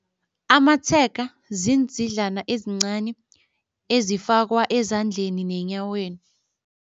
Amatshega ziindzidlana ezincani ezifakwa ezandleni nenyaweni.